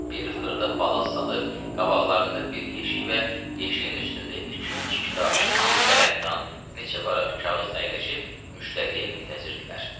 Bir xırda palaz salıb qabaqlarında bir yeşik və yeşiyin üstündə iki-üç kitab, bir qələmdan, neçə varaq kağız əyləşib müştəriyə müntəzirdirlər.